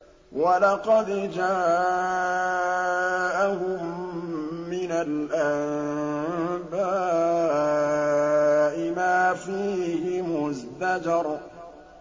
وَلَقَدْ جَاءَهُم مِّنَ الْأَنبَاءِ مَا فِيهِ مُزْدَجَرٌ